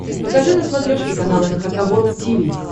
покажи на смотрешке канал эн эйч кей волд ти ви